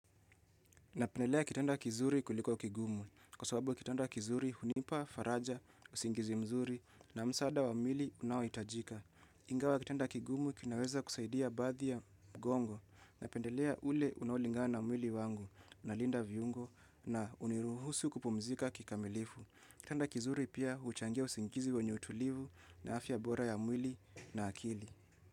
Napendelea kitendo kizuri kuliko kigumu. Kwa sababu kitendo kizuri hunipa, faraja, usingizi mzuri na msaada wa mwili unaohitajika. Ingawa kitanda kigumu kinaweza kusaidia baadhi ya mgongo. Napendelea ule unaolingana na mwiki wangu nalinda viungo na huniruhusu kupumzika kikamilifu. Kitanda kizuri pia huchangia usingizi wenye tulivu na afya bora ya mwili na akili.